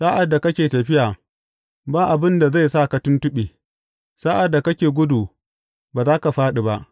Sa’ad da kake tafiya, ba abin da zai sa ka tuntuɓe; sa’ad da kake gudu, ba za ka fāɗi ba.